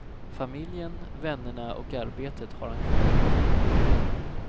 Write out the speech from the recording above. Familjen, vännerna och arbetet har han kvar.